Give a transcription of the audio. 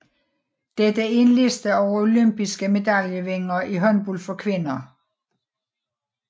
Dette er en liste over olympiske medaljevindere i håndbold for kvinder